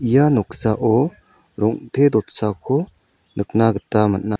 ia noksao rong·te dotsako nikna gita man·a.